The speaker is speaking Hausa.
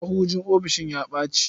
Mahujin ofisishin ya ɓaci.